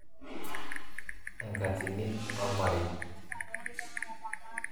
Enkatini omarei.